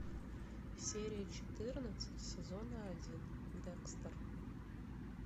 серия четырнадцать сезона один декстер